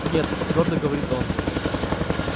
нет твёрдо говорит он